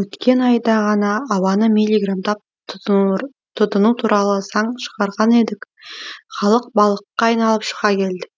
өткен айда ғана ауаны милиграмдап тұтыну туралы заң шығарған едік халық балыққа айналып шыға келді